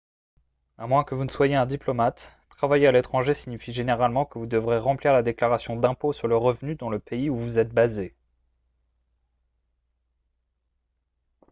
à moins que vous ne soyez un diplomate travailler à l'étranger signifie généralement que vous devrez remplir la déclaration d'impôts sur le revenu dans le pays où vous êtes basé